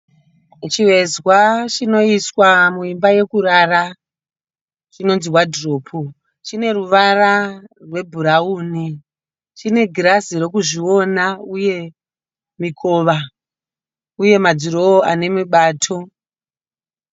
Chivezwa chinoiswa muimba yokurara chinonzi wadhiropu, chineruvara rwebhurauni. Chine girazi rokuzviona uye mikova, uye madhirowa anemibato.